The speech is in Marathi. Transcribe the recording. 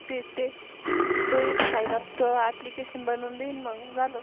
मग ते ते तो एक Sign up application बनून देईल मग झाल.